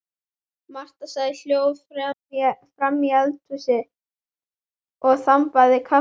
Marta sat hljóð framí eldhúsi og þambaði kaffi.